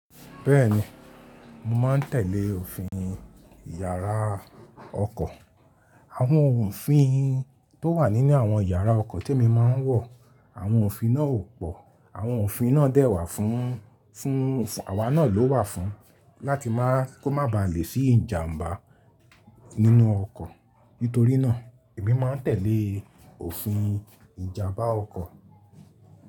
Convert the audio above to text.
Bẹ́ẹ̀ni, mo má ń tẹ̀lé òfin yàrá ọkọ̀. Àwọn òfin tó wà nínú àwọn yàrá ọkọ̀ tí mo máa ń wọ̀, àwọn òfin náà ò pọ̀. Àwọn òfin náà dẹ́wà fún, fún, àwá náà ló wà fún. Láti má kó má ba lè sí ìjàm̀bá nínú ọkọ̀. Nítorí náà, èmi máa ń tẹ̀lé òfin ìjàm̀bá ọkọ̀.